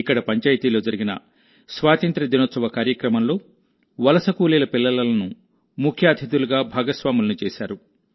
ఇక్కడ పంచాయతీలో జరిగిన స్వాతంత్య్ర దినోత్సవ కార్యక్రమంలో వలస కూలీల పిల్లలను ముఖ్య అతిథులుగా భాగస్వాములను చేశారు